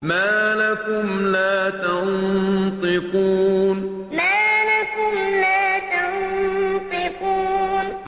مَا لَكُمْ لَا تَنطِقُونَ مَا لَكُمْ لَا تَنطِقُونَ